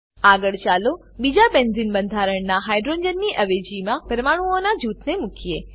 આગળ ચાલો બીજા બેન્ઝીન બંધારણનાં હાઇડ્રોજનની અવેજીમાં પરમાણુઓનાં જૂથને મુકીએ